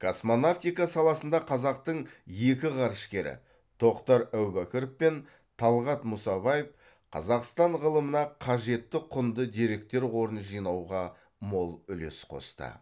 космонавтика саласында қазақтың екі ғарышкері тоқтар әубәкіров пен талғат мұсабаев қазақстан ғылымына қажетті құнды деректер қорын жинауға мол үлес қосты